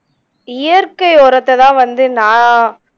இயற்கை உரத்த தான் வந்து நா